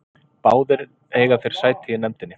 Báðir eiga þeir sæti í nefndinni